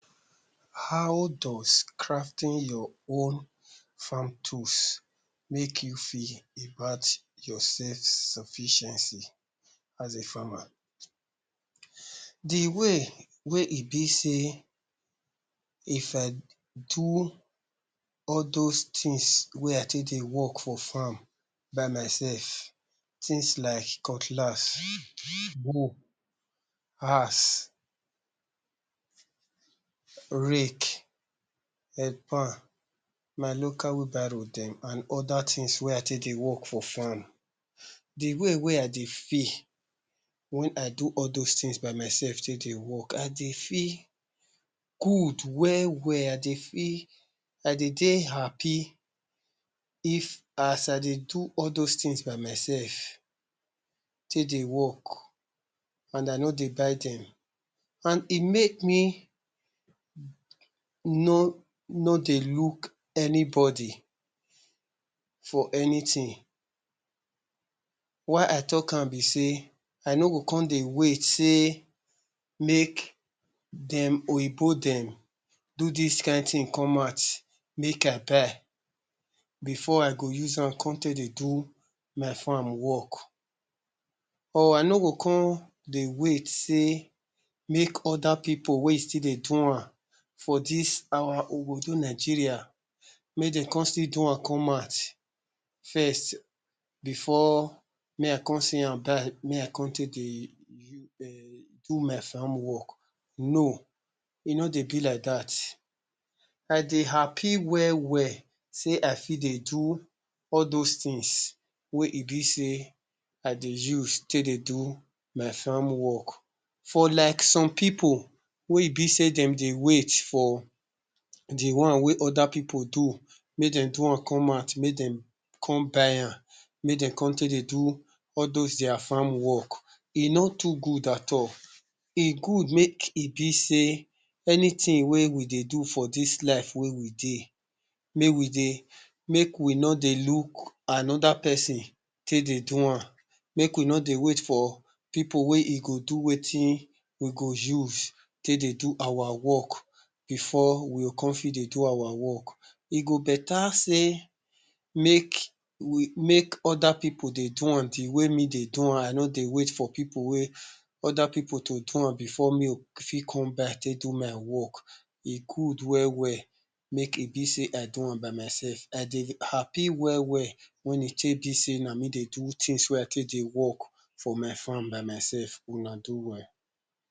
hoew does crafting your own farm tools make you feel about your self sufficiency? as a farmer the way wey e be sey if i do all those things wey i take dey work for farm by myself, things like cutlass, hoe axe rake headpan my local wheelbarrow dem and other things wey i take dey work for farm dem de way wey i dey feel when i do all those things by myself take dey work, i dey feel good we-we, i dey feel i de dey happy if as i dey do all those things by myself take dey work and i no dey buy dem and e make me no, no dey look anybody for anything why i talkam be sey i no go come dey wait sey make dem oyibo dem do dis kind thing come out make i buy before i go uzam come take dey do my farm work or i no go come dey wait sey make other people wey still dey dowam for dis our obodo Nigeria, make dey come still dowam come out first before me i come seeyam die me i come take dey do my farm work, on, e no dey be like dat i dey happy we-we sey i fit dey do all those things wey e be sey i dey use take dey do my farm work for like some people wey e be sey dem dey wait for the one wey other people do make dem dowam come out make dem come buyam make dem come dey do all those dia farm work, e no too good at all e good make e be sey anything wey we dey do for dis life wey we dey mey we dey make we no dey look another person take dey dowam make we no dey wait for people wey e go do wetin we go use take dey do our work before we go come fit dey do our work e go beta sey make make other people dey dowam the way me dey dowam i no dey wait for people wey other people to dowam before me fit come back take do my work e good we-we make e be sey i dowam by myself, i dey happy we-we when e tey be sey na me dey do things wey i take dey work for my farm by myself una do well